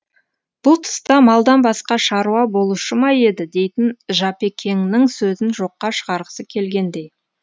бұл тұста малдан басқа шаруа болушы ма еді дейтін жапекеңнің сөзін жоққа шығарғысы келгендей